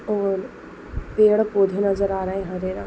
और पेड़ पौधे नजर आ रहे है। हरे रंग--